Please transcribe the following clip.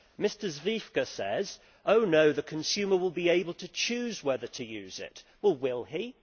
Mr Zwiefka says oh no, the consumer will be able to choose whether to use it. Will he?